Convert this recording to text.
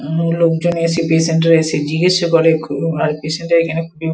এবং লোকজন এসে পেসেন্ট এর কছে জিজ্ঞেস ও করে খুব আর পেসেন্ট এর এখানে খুবই।